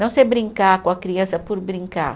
Não ser brincar com a criança por brincar.